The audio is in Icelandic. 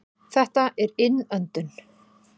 Þetta er innöndun.